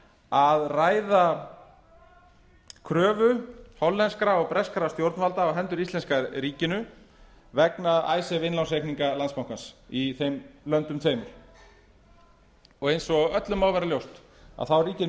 að ræða kröfu hollenskra og breskra stjórnvalda á hendur íslenska ríkinu vegna icesave innlánsreikninga landsbankans í þeim löndum tveimur eins og öllum má vera ljóst ríkir